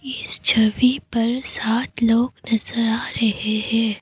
इस छवि पर सात लोग नजर आ रहे हैं।